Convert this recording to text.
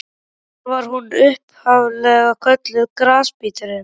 Því var hún upphaf-lega kölluð Grasbíturinn.